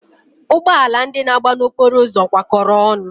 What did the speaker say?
Ụgbọala ndị ahụ na-agba n'okporo ụzọ kwa kọrọ ọnụ.